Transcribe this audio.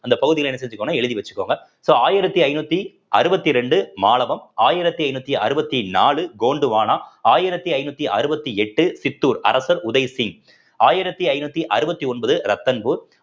அந்த பகுதியில என்ன செஞ்சுக்கோன்னா எழுதி வச்சுக்கோங்க so ஆயிரத்தி ஐநூத்தி அறுவத்தி ரெண்டு மாலபம் ஆயிரத்தி ஐந்நூத்தி அறுவத்தி நாலு கோந்துவானா ஆயிரத்தி ஐந்நூத்தி அறுவத்தி எட்டு சித்தூர் அரசர் உதய் சிங் ஆயிரத்தி ஐந்நூத்தி அறுவத்தி ஒன்பது ரத்தன்பூர்